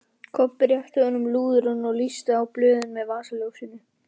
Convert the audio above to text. Kobbi rétti honum lúðurinn og lýsti á blöðin með vasaljósinu.